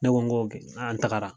Ne ko n ko an tagara.